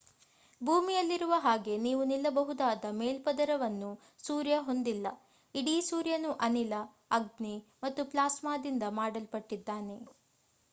ಭೂಮಿಯಲ್ಲಿರುವ ಹಾಗೆ ನೀವು ನಿಲ್ಲಬಹುದಾದ ಮೇಲ್ಪದರವನ್ನು ಸೂರ್ಯ ಹೊಂದಿಲ್ಲ ಇಡೀ ಸೂರ್ಯನು ಅನಿಲ ಅಗ್ನಿ ಮತ್ತು ಪ್ಲಾಸ್ಮಾದಿಂದ ಮಾಡಲ್ಪಟ್ಟಿದ್ದಾನೆ